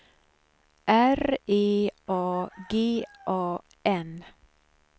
R E A G A N